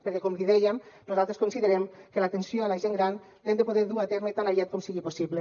perquè com li dèiem nosaltres considerem que l’atenció a la gent gran l’hem de poder dur a terme tan aviat com sigui possible